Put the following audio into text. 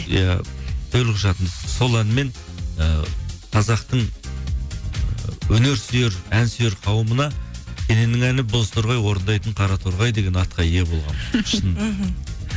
иә төлқұжатым сол әнмен ы қазақтың ы өнерсүйер әнсүйер қауымына кененнің әні бозторғай орындайтын қараторғай деген атқа ие болғанмын мхм